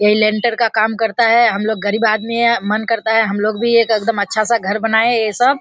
यही लिंटर का काम करता है हमलोग गरीब आदमी है मन करता है हमलोग भी एक एकदम अच्छा-सा घर बनाए ये सब।